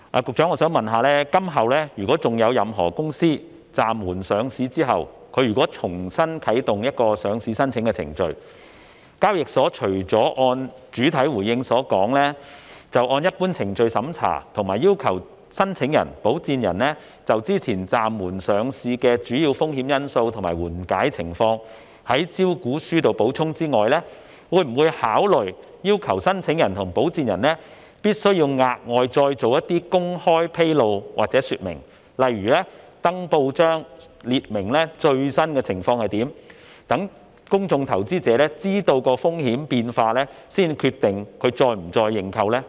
局長，今後如有任何公司在暫緩上市後重啟上市程序，港交所除了會如主體答覆所言，按照一般程序進行審查，以及要求申請人及保薦人就先前暫緩上市的主要風險因素及緩解情況在招股書中作出補充外，會否考慮要求申請人及保薦人額外作出某些公開披露或說明，例如登報述明最新情況，以便公眾投資者在得悉風險變化後才決定是否再次認購？